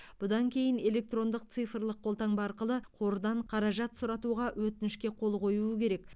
бұдан кейін электрондық цифрлық қолтаңба арқылы қордан қаражат сұратуға өтінішке қол қоюы керек